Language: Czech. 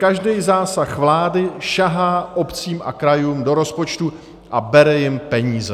Každý zásah vlády sahá obcím a krajům do rozpočtů a bere jim peníze.